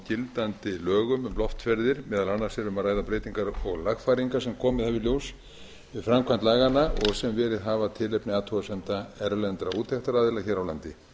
gildandi lögum um loftferðir meðal annars er um að ræða breytingar og lagfæringar sem komið hafa í ljós við framkvæmd laganna og sem verið hafa tilefni athugasemda erlendra úttektaraðila hér á landi